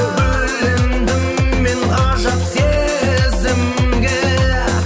бөлендім мен ғажап сезімге